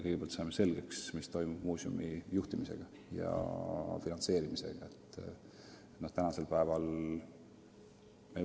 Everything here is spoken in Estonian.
Kõigepealt peame selgeks saama, mis saab muuseumi juhtimisest ja finantseerimisest.